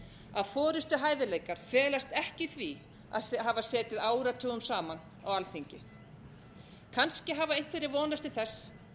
um villst að forustuhæfileikar felast ekki í því að hafa setið áratugum saman á alþingi kannski hafa einhverjir vonast til þess